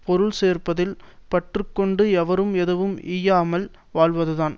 பொருள் சேர்ப்பதில் பற்று கொண்டு எவருக்கும் எதுவும் ஈயாமல் வாழ்வதுதான்